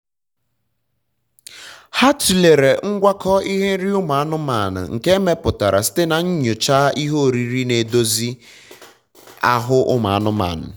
ha tulere ngwakọ ihe nrị ụmụanụmanụ nke emeputara site na nyocha ihe oriri na-edozi oriri na-edozi ahụ ụmụanụmanụ